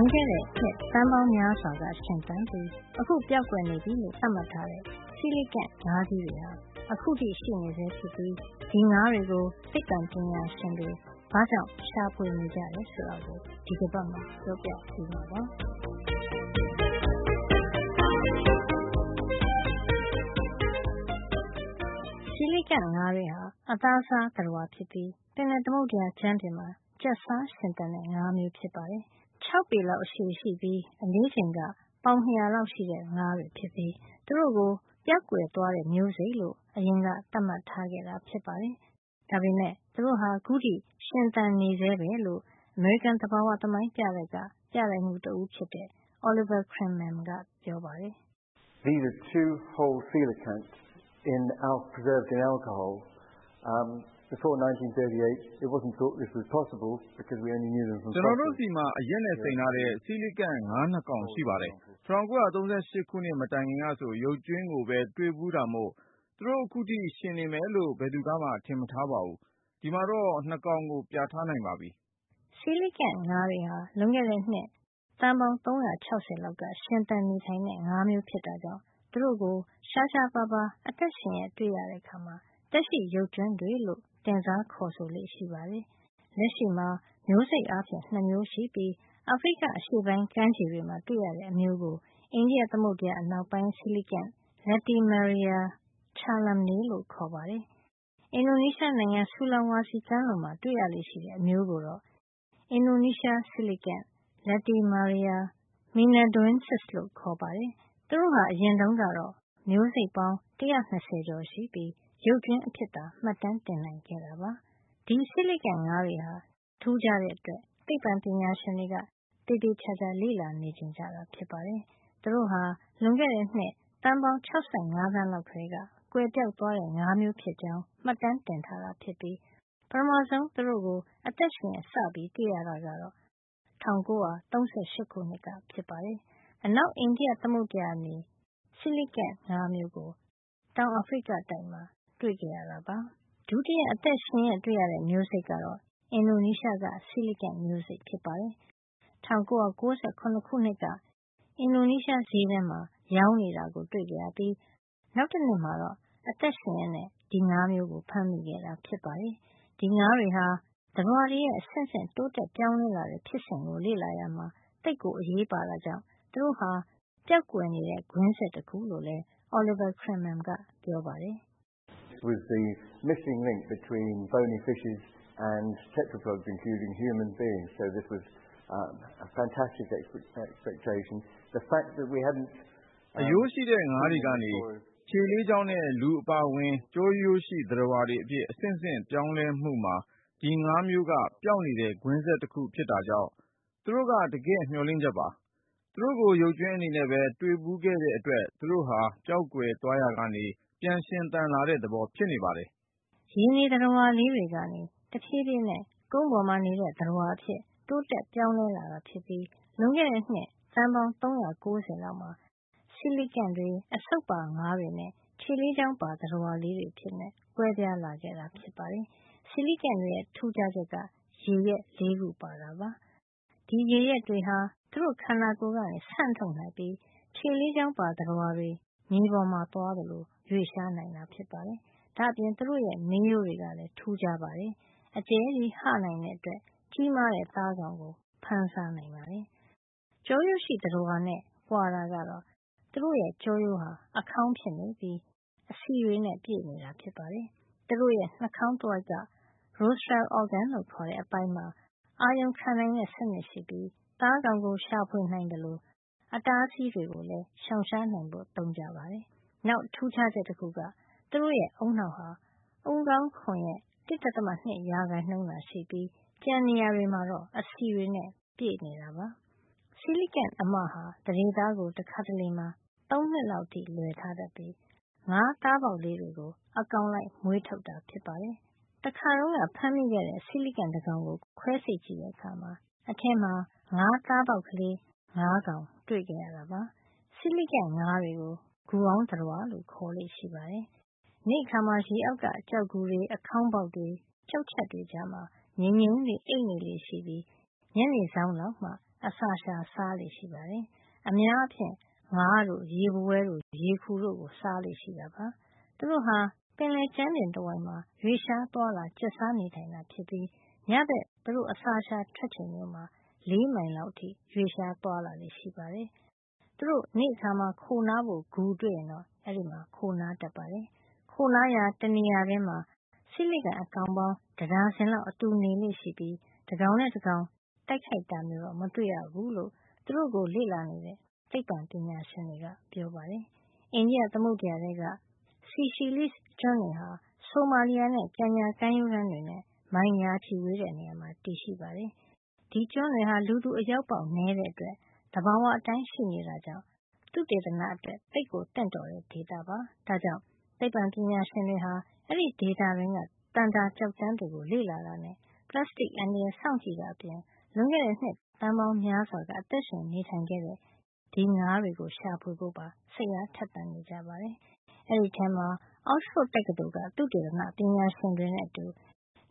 ွန်ခဲ့တဲ့ နှစ်သန်းပေါင်းများစွာက ရှင်သန်ပြီး အခုပျောက်ကွယ်နေပြီလို့ သတ်မှတ်ထားတဲ့ Coelacanth ငါးကြီးတွေဟာ အခုထိ ရှိနေဆဲဖြစ်ပြီး သက်ရှိ ရုပ်ကြွင်းလို့ ခေါ်ဆိုလေ့ရှိတဲ့ ဒီငါးတွေကို သိပ္ပံပညာရှင်တွေ ဘာကြောင့် ရှာဖွေနေကြတယ် ဆိုတာကို ဒီတပတ်မှာ ပြောပြပေးမှာပါ။ Coelacanth တွေဟာ အသားစားသတ္တဝါဖြစ်ပြီး ပင်လယ်သမုဒ္ဒရာ ကြမ်းပြင်မှာ ကျက်စားရှင်သန်တဲ့ ငါးမျိုးဖြစ်ပါတယ်။ ၆ ပေလောက် ရှည်ပြီး အလေးချိန်အားဖြင့် ပေါင် ၂၀၀ လောက်ထိ ရှိတဲ့ ငါးကြီးတွေ ဖြစ်ပြီး သူတို့ကို ပျောက်ကွယ်သွားတဲ့ မျိုးစိတ်လို့ အရင်က သတ်မှတ်ထားခဲ့တာ ဖြစ်ပါတယ်။ ဒါပေမယ့် သူတို့ဟာ အခုထိ ရှင်သန်နေဆဲပဲလို့ အမေရိကန် သဘာဝသမိုင်းပြတိုက်က ပြတိုက်မှုး တဦးဖြစ်တဲ့ Oliver Crimmen ကပြောပါတယ်။ "ကျနော်တို့ဆီမှာ အရက်နဲ့စိမ်ထားတဲ့ ဆီလီကန့် (coelacanths) ငါး ၂ ကောင်ရှိပါတယ်။ ၁၉၃၈ ခုနှစ် မတိုင်ခင်ကဆို ရုပ်ကြွင်းကိုပဲ တွေ့ဘူးတာမို့ သူတို့ခုထိ ရှင်နေမယ်လို့ ဘယ်သူကမှ ထင်မထား ဘူး။ ဒီမှာတော့ ၂ ကောင်ကို ပြထားနိုင်ပါပြီ” Coelacanth တွေဟာ လွန်ခဲ့တဲ့နှစ်သန်းပေါင်း ၃၆၀ လောက်က ရှင်သန်နေထိုင်တဲ့ ငါးမျိုးဖြစ် တာကြောင့် သူတို့ကို ရှားရှားပါးပါး အသက်ရှင်ရက်တွေ့ရတဲ့ အခါ သက်ရှိရုပ်ကြွင်းတွေလို့ တင်စား ခေါ်ဆိုလေ့ရှိပါတယ်။ လက်ရှိမှာ မျိုးစိတ်အားဖြင့် ၂ မျိုးရှိပြီး အာဖရိက အရှေ့ပိုင်း ကမ်းခြေတွေမှာ တွေ့ရတဲ့ အမျိုးကို အိန္ဒိယသမုဒ္ဒရာ အနောက်ပိုင်း Coelacanth – Latimeria chalumnae လို့ခေါ်ပါတယ်။ အင်ဒိုနီးရှား နိုင်ငံ Sulawesi ကမ်းလွန်မှာ တွေ့ရလေ့ရှိတဲ့ အမျိုးကိုတော့ အင်ဒိုနီးရှား Coelacanth – Latimeria menadoensis လို့ ခေါ်ပါတယ်။ သူတို့ဟာ အရင်တုန်းကတော့ မျိုးစိတ်ပေါင်း ၁၂၀ ကျော် ရှိပြီး ရုပ်ကြွင်းအဖြစ်သာ မှတ်တမ်းတင်နိုင်ခဲ့တာပါ။ ဒီ Coelacanth ငါးတွေဟာ ထူးခြားတဲ့အတွက် သိပ္ပံပညာရှင်တွေက သေသေချာချာ လေ့လာ ချင်ကြတာ ဖြစ်ပါတယ်။ သူတို့ဟာ လွန်ခဲ့တဲ့ နှစ် သန်းပေါင်း ၆၅ သန်းလောက်ကတည်းက ကွယ်ပျောက်သွားတဲ့ ငါးမျိုးဖြစ်ကြောင်း မှတ်တမ်းတင်ထားတာဖြစ်ပြီး ပထမဆုံး သူတို့ကို အသက်ရှင်ရက် စတွေ့ရတာ ကတော့ ၁၉၃၈ ခုနှစ်က ဖြစ်ပါတယ်။ အနောက်အိန္ဒိယသမုဒ္ဒရာနေ Coelacanth မျိုးကို တောင်အာဖရိကမှာ တွေ့ခဲ့တာပါ။ ဒုတိယ အသက်ရှင်ရက်တွေ့ရတဲ့ မျိုးစိတ်က အင်ဒိုနီးရှားက Coelacanth မျိုးစိတ်ဖြစ်ပါတယ်။ ၁၉၉၇ ခုနှစ်က အင်ဒိုနီးရှား ဈေးထဲမှာ ရောင်းနေတာ တွေ့ခဲ့ရပြီး နောက်တနှစ်မှာတော့ အသက်ရှင်ရက် ဖမ်းမိခဲ့တာ ဖြစ်ပါတယ်။ ဒီငါးတွေဟာ သတ္တဝါတွေရဲ့ အဆင့်ဆင့် တိုးတက်ပြောင်းလဲလာတဲ့ ဖြစ်စဉ်ကို လေ့လာရာမှာ သိပ်အရေးပါတာကြောင့် သူတို့ဟာ ပျောက်နေတဲ့ ကွင်းဆက်တခုလို့ လည်း Oliver Crimmen ကပြောပါတယ်။ "အရိုးရှိတဲ့ငါးတွေကနေ ခြေလေးချောင်းနဲ့ လူအပါအဝင် ကျောရိုးရှိသတ္တဝါတွေအဖြစ် အဆင့်ဆင့်ပြောင်းလဲမှုမှာ ဒီငါးမျိုးက ပျောက်နေတဲ့ ကွင်းဆက်တခု ဖြစ်တာကြောင့် သူတို့က တကယ့် မျှော်လင့်ချက်ပါ။ သူတို့ကို ရုပ်ကြွင်းအနေနဲ့ပဲ တွေ့ဘူးခဲ့တဲ့အတွက် သူတို့ဟာ ပျောက်ကွယ် သွားရာကနေ ပြန်ရှင်သန်လာတဲ့ သဘောဖြစ်နေပါတယ်။” ရေနေသတ္တဝါလေးတွေကနေ တဖြေးဖြေး ကုန်းပေါ်နေတဲ့ သတ္တဝါအဖြစ် တိုးတက်ပြောင်းလဲ လာတာ ဖြစ်ပြီး လွန်ခဲ့တဲ့ နှစ် သန်းပေါင်း ၃၉၀ လောက်မှာ Coelacanth တွေ အဆုပ်ပါငါးတွေနဲ့ ခြေလေးချောင်းပါ သတ္တဝါတွေ အဖြစ် ကွဲပြားလာခဲ့တာ ဖြစ်ပါတယ်။ Coelacanth တွေရဲ့ ထူးခြားချက်က ရေယက် ၄ ခုဖြစ်ပါတယ်။ ဒီရေယက်တွေဟာ သူတို့ ခန္ဓာကိုယ် ကနေ ဆန့်ထုတ်နိုင်ပြီး ခြေလေးချောင်းပါ သတ္တဝါတွေ မြေပေါ်မှာသွားသလို ရွေ့လျားနိုင်တာပါ။ ဒါ့အပြင် သူတို့ရဲ့ မေးရိုးတွေကလည်း ထူးခြားပါတယ်။ အကျယ်ကြီးဟနိုင်တဲ့အတွက် ကြီးမားတဲ့ သားကောင်ကို ဖမ်းစားနိုင်ပါတယ်။ ကျောရိုးရှိသတ္တဝါနဲ့ ကွာတာကတော့ သူတို့ရဲ့ ကျောရိုးဟာ အခေါင်းဖြစ်နေပြီး အဆီတွေနဲ့ ပြည့်နေ တာဖြစ်ပါတယ်။ သူတို့ရဲ့ နှာခေါင်းတဝိုက်က rostral organ လို့ခေါ်တဲ့ အပိုင်းမှာ အာရုံခံနိုင်တဲ့ စံနစ်ရှိပြီး သားကောင်ကို ရှာဖွေနိုင်သလို အတားအဆီးတွေကိုလည်း ရှောင်နိုင်ဖို့ သုံးကြပါတယ်။ နောက်ထူးခြားချက် တခုက သူတို့ရဲ့ ဦးနှောက်ဟာ ခေါင်းခွံရဲ့ ၁.၅ % သာရှိပြီး ကျန်နေရာတွေမှာ အဆီတွေနဲ့ ပြည့်နေတာပါ။ Coelacanth အမဟာ သန္ဓေသားကို တခါတလေမှာ ၃ နှစ်လောက်အထိ လွယ်ထားတတ်ပြိး ငါးသားပေါက်ကလေးတွေကို အကောင်လိုက် မွေးထုတ်တာ ဖြစ်ပါတယ်။ တခါတုန်းက ဖမ်းမိခဲ့တဲ့ Coelacanth တကောင်ကို ခွဲစိတ် လေ့လာကြည့်တဲ့အခါမှာ အထဲမှာ ငါးသားပေါက်ကလေး ၅ ကောင် တွေ့ခဲ့ရတာပါ။ Coelacanth ငါးတွေကို ဂူအောင်း သတ္တဝါလို့ ခေါ်လေ့ရှိပါတယ်။ နေ့အခါမှာ ရေအောက်က ကျောက်ဂူတွေ၊ အခေါင်းပေါက်တွေ၊ ကျောက်ချပ်ကြားတွေမှာ ငြိမ်ငြိမ်လေး အိပ်နေလေ့ရှိပြီး ညနေစောင်းလောက်မှာ အစာရှာစားလေ့ရှိပါတယ်။ အများအားဖြင့် ငါးတို့ ရေဘဝဲတို့ ရေခူတို့ကို စားလေ့ရှိပါတယ်။ သူတို့ဟာ ပင်လယ်ကြမ်းပြင် တဝိုက်မှာ ရွေ့လျား သွားလာ ကျင်လာကျက်စားတာ ဖြစ်ပြီး ညဘက် သူတို့ အစာရှာ ထွက်ချိန်မျိုးမှာ ၄ မိုင်လောက် အထိ သွားလာလေ့ရှိပါတယ်။ သူတို့ နေ့အခါ ခိုနားဖို့ ဂူတွေ့ရင်တော့ အဲဒီမှာ ခိုနားတတ်ပါတယ်။ ခိုနားရာ တနေရာထဲမှာ Coelacanth အကောင်ပေါင်း တဒါဇင်လောက် အတူနေလေ့ရှိပြီး တကောင်နဲ့ တကောင် တိုက်ခိုက်တာမျိုးတော့ မတွေ့ရဘူူးလို့ သူတို့ကို လေ့လာနေတဲ့ သိပ္ပံပညာရှင်တွေက ပြောပါတယ်။ အိန္ဒိယ သမုဒ္ဒရာထဲက စီရှီလိစ် (Seychelles) ကျွန်းတွေဟာ ဆိုမာလီယာနဲ့ ကင်ညာ ကမ်းရိုးတန်းတွေ နဲ့ မိုင်ရာချီဝေးတဲ့နေရာမှာ တည်ရှိပါတယ်။ ဒီကျွန်းတွေဟာ လူသူ အရောက်ပေါက် နဲတဲ့အတွက် သဘာဝအတိုင်းရှိနေတာကြောင့် သုတေသနအတွက် သိပ်သင့်တော်တဲ့ ဒေသ ဖြစ်နေပါတယ်။ ဒါကြောင့် သိပ္ပံပညာရှင်တွေဟာ အဲဒီဒေသတွင်းက သန္တာကျောက်တန်းတွေကို လေ့လာတာနဲ့ ပလပ်စတစ်အန္တရာယ် စောင့်ကြည့်တာအပြင် လွန်ခဲ့တဲ့နှစ်သန်းပေါင်းများစွာက အသက်ရှင်နေထိုင်ခဲ့တဲ့ ငါးတွေရှာဖွေဖို့ပါ စိတ်အား ထက်သန်နေကြပါတယ်။ အဲဒီထဲမှာ Oxford တက္ကသိုလ်က သုတေသန ပညာရှင်တွေနဲ့အတူ